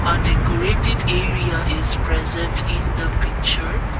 a decorated area is present in the picture.